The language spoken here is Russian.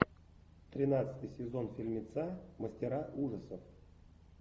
тринадцатый сезон фильмеца мастера ужасов